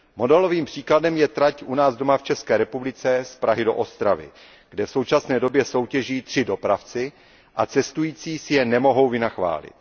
Modelovým příkladem je trať u nás v České republice z Prahy do Ostravy, kde v současné době soutěží tři dopravci a cestující si je nemohou vynachválit.